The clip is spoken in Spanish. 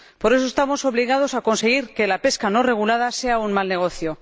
Por eso, estamos obligados a conseguir que la pesca no regulada sea un mal negocio.